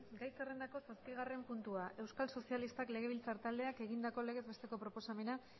gai zerrendako zazpigarren puntua euskal sozialistak legebiltzar taldeak egindako legez besteko proposamena